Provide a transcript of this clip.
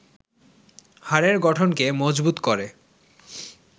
হাড়ের গঠনকে মজবুত করে